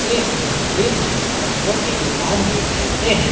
जी हम हिंदी में किताबो की दुकान भी कहते है।